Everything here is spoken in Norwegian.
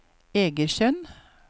Egersund